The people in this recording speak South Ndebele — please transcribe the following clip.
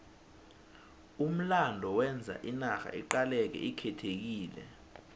umlando wenza inarha iqaleke ikhethekile